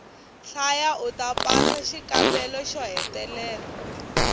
hlaya uta pasa xikambelo xo hetelela